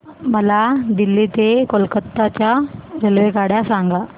मला दिल्ली ते कोलकता च्या रेल्वेगाड्या सांगा